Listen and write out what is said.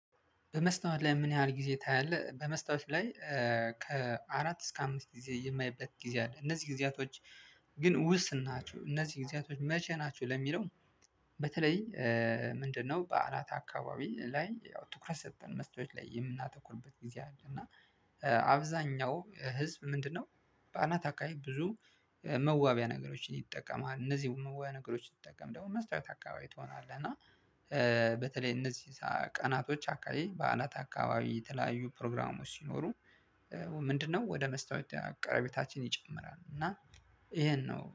በመስታወት ላይ ምን ያህል ጊዜ ታያለህ? በመስታወት ላይ ከአራት እስከ አምስት ጊዜ የማይበት ጊዜ አለ እነዚህ ጊዜያቶች ግን ውስን ናቸው እነዚህ ጊዜያቶች መቼ ናቸው ለሚለው በተለይ ምንድነው በዓላት አካባቢ ላይ ያው ትኩረት ሰጠን መስታወት ላይ የምናተኩርበት ጊዜ አለ እና አብዛኛው ህዝብ ምንድነው በአናት አካባቢ ብዙ መዋቢያ ነገሮችን ይጠቀማል እነዚህን መዋቢያ ነገሮችን ስትጠቀም ደግሞ መስታወት አካባቢ ትሆናለህ እና በተለይ እነዚህ ቀናቶች አካባቢ በዓላት አካባቢ የተለያዩ ፕሮግራሞች ሲኖሩ ምንድነው ወደ መስታወት አቅራቤታችን ይጨምራል እና ይሄን ነው